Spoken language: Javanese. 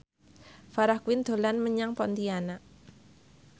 Farah Quinn dolan menyang Pontianak